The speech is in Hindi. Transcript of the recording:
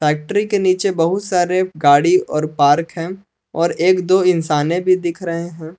फैक्ट्री के नीचे बहुत सारे गाड़ी और पार्क हैं और एक दो इंसाने भी दिख रहे हैं।